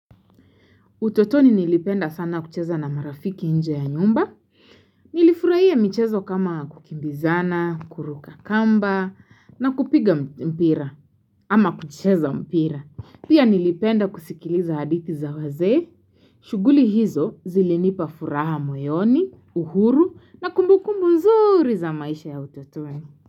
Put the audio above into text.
Utotoni nilipenda sana kucheza na marafiki nje ya nyumba. Nilifurahia michezo kama kukimbizana, kuruka kamba, na kupiga mpira, ama kucheza mpira. Pia nilipenda kusikiliza hadithi za wazee. Shuguli hizo zilinipa furaha moyoni, uhuru, na kumbukumbu mzuri za maisha ya utotoni.